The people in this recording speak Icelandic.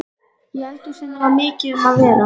Í eldhúsinu var mikið um að vera.